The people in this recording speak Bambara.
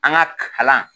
An ka kalan